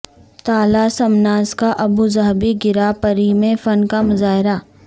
تالہ سمناس کا Abu Dhabi grand prix میں فن کا مظاہرہ